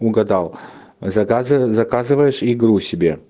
угадал заказы заказываешь игру себе